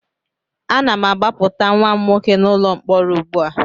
Ana m agbapụta nwa m nwoke n'ụlọ mkpọrọ ugbu a